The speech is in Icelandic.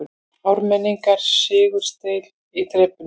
Ármenningar sigursælir í þrepunum